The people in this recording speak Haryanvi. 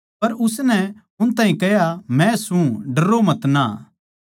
पर उसनै उनतै कह्या मै सूं डरो मतना